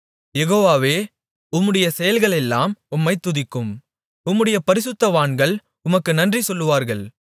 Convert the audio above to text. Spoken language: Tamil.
யெகோவாவே உம்முடைய செயல்களெல்லாம் உம்மைத் துதிக்கும் உம்முடைய பரிசுத்தவான்கள் உமக்கு நன்றி சொல்வார்கள்